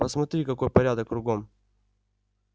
посмотри какой порядок кругом